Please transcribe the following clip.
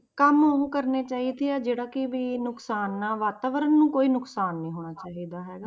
ਕੰਮ ਉਹ ਕਰਨੇ ਚਾਹੀਦੇ ਆ ਜਹੜਾ ਕਿ ਵੀ ਨੁਕਸਾਨ ਨਾ, ਵਾਤਾਵਰਨ ਨੂੰ ਕੋਈ ਨੁਕਸਾਨ ਨੀ ਹੋਣਾ ਚਾਹੀਦਾ ਹੈਗਾ।